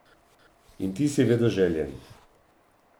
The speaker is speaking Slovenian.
In ti si vedoželjen.